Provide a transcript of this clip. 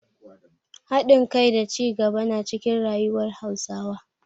Hadin kai da cigaba na cikin rayuwar Hausawa.